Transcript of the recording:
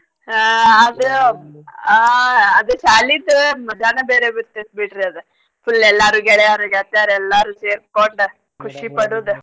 ಹಾ ಅದ್ ಆ ಅದ್ ಶಾಲಿದ್ ಮಜಾನ ಬೇರೆ ಬರ್ತೇತ್ ಬಿಡ್ರಿ ಅದ್ full ಎಲ್ಲರೂ ಗೆಳೆಯಾರ್ ಗೆಳ್ತಿಯರ್ ಎಲ್ಲರೂ ಸೇರ್ಕೊಂಡ್ ಖುಷಿ ಪಡುದು.